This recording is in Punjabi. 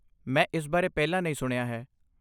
ਮੈਂ ਇਸ ਬਾਰੇ ਪਹਿਲਾਂ ਨਹੀਂ ਸੁਣਿਆ ਹੈ।